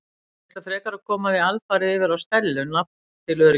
Ég ætla frekar að koma því alfarið yfir á Stellu nafn til öryggis.